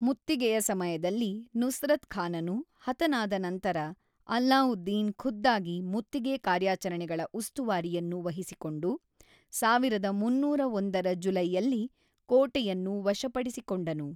ಮುತ್ತಿಗೆಯ ಸಮಯದಲ್ಲಿ ನುಸ್ರತ್ ಖಾನನು ಹತನಾದ ನಂತರ, ಅಲ್ಲಾವುದ್ದೀನ್ ಖುದ್ದಾಗಿ ಮುತ್ತಿಗೆ ಕಾರ್ಯಾಚರಣೆಗಳ ಉಸ್ತುವಾರಿಯನ್ನು ವಹಿಸಿಕೊಂಡು, ಸಾವಿರದ ಮೂನ್ನೂರ ಒಂದರ ಜುಲೈಯಲ್ಲಿ ಕೋಟೆಯನ್ನು ವಶಪಡಿಸಿಕೊಂಡನು.